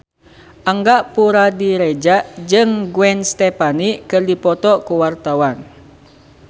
Angga Puradiredja jeung Gwen Stefani keur dipoto ku wartawan